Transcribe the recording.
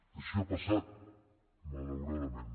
així ha passat malauradament